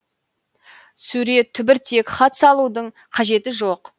сурет түбіртек хат салудың қажеті жоқ